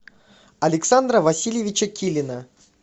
александра васильевича килина